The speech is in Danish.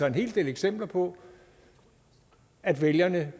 en hel del eksempler på at vælgerne